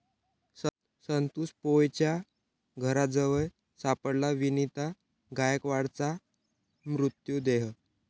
संतोष पोळच्या घराजवळ सापडला वनिता गायकवाडचा मृतदेह